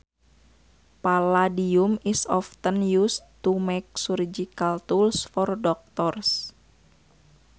Palladium is often used to make surgical tools for doctors